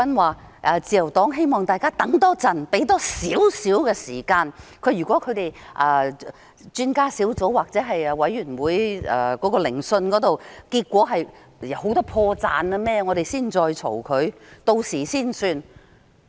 他說自由黨希望大家多等一會，給予多一點時間，如果專家顧問團或調查委員會的調查結果發現很多破綻，大家才作批評，屆時才算。